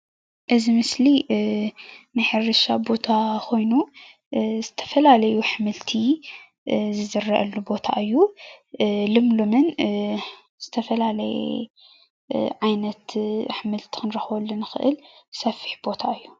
እዚ ምስሊ ናይ ሕርሻ ቦታ ኾይኑ ዝተፈላለዩ ኣሕምልቲ ዝዝረአሉ ቦታ እዩ፡፡ ልምሉምን ዝተፈላለየ ዓይነት ኣሕምልቲ ክንረኽበሉ ንኽእል ሰፊሕ ቦታ እዩ፡፡